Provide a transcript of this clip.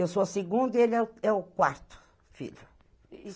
Eu sou a segunda e ele é é o quarto filho.